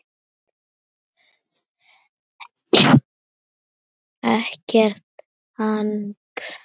Ekkert hangs!